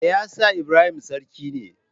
Me yasa Ibrahim sarki ne?